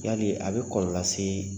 Yali a bɛ kɔlɔlɔ lase